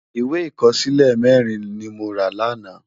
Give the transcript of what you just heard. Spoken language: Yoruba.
Iwé ikòsilé mèrin ni mó rá làná